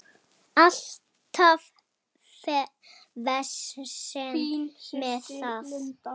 Alltaf vesen með það.